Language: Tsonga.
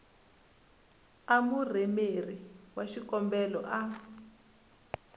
a murhumeri wa xikombelo a